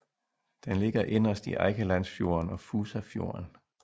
Den ligger inderst i Eikelandsfjorden og Fusafjorden